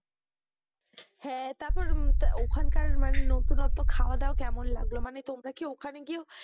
হ্যাঁ, তারপর ওখানকার মানে নতুনত্ব খাওয়া দাওয়া কেমন লাগলো? মানে তোমরা কি ওখানে গিয়েও